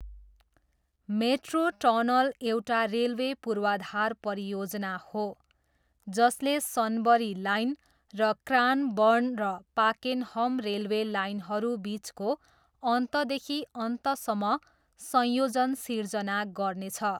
Metro tunnel एउटा railway पूर्वाधार परियोजना हो जसले सनबरी लाइन र क्रानबर्न र पाकेनहम रेलवे लाइनहरू बिचको अन्तदेखि अन्तसम्म संयोजन सिर्जना गर्नेछ।